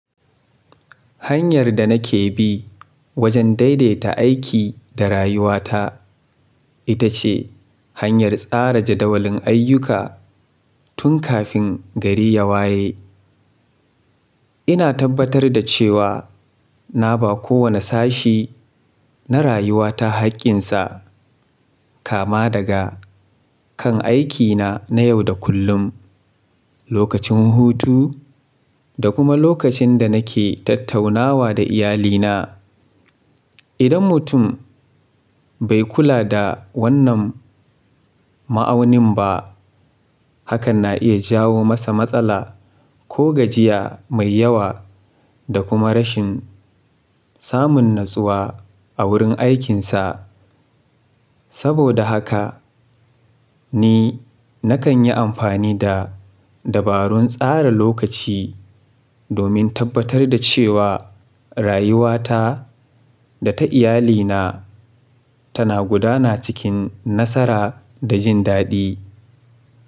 Hanyar da nake bi wajen daidaita aiki da rayuwata ita ce hanyar tsara jadawalin ayyuka tun kafin gari ya waye. Ina tabbatar da cewa na ba kowane sashi na rayuwata haƙƙinsa, kama daga kan aikina na yau da kullum, lokacin hutu da kuma lokacin da nake tattaunawa da iyalina. Idan mutum bai kula da wannan ma'aunin ba, hakan na iya jawo masa matsala ko gajiya mai yawa da kuma rashin samun natsuwa a wurin aikinsa. Saboda haka ni nakan yi amfani da dabarun tsara lokaci domin tabbatar da cewa rayuwata da ta iyalina tana gudana cikin nasara da jin daɗi.